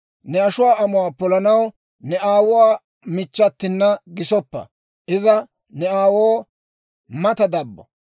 Ne ashuwaa amuwaa polanaw ne aawuwaa michchatina gisoppa. Iza ne aawoo mata dabbo.